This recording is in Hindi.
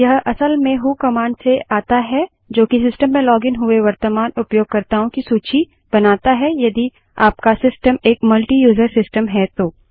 यह असल में व्हो कमांड से आता है जोकि सिस्टम में लॉगिन हुए वर्त्तमान उपयोगकर्ताओं की सूची बनाता हैयदि आपका सिस्टम एक मल्टीयूज़र सिस्टम है तो